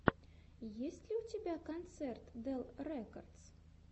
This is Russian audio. есть ли у тебя концерт дел рекордс